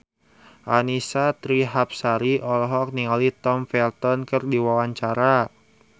Annisa Trihapsari olohok ningali Tom Felton keur diwawancara